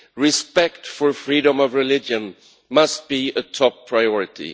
Respect for freedom of religion must be a top priority.